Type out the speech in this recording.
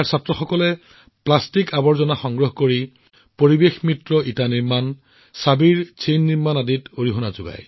অসমৰ কামৰূপ মহানগৰ জিলাৰ অক্ষৰ ফৰাম নামৰ এখন বিদ্যালয়ে শিশুৰ মাজত সংস্কাৰ আৰু শিশুৰ বহনক্ষম উন্নয়নৰ মূল্যবোধৰ বীজ সিঁচাৰ কাম নিৰন্তৰ কৰি আছে